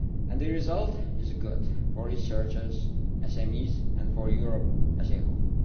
The result is good for researchers, SMEs and for Europe as a whole.